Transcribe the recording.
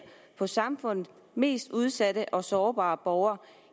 på samfundets mest udsatte og sårbare borgere